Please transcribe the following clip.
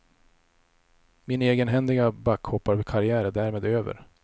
Min egenhändiga backhopparkarriär är därmed över.